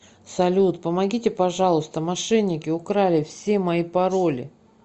салют помогите пожалуйста мошенники украли все мои пароли